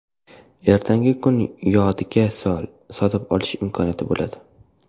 Ertangi kuni yodiga sol, sotib olish imkoniyati bo‘ladi.